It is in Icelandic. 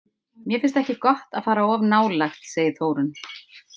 Mér finnst ekki gott að fara of nálægt, segir Þórunn.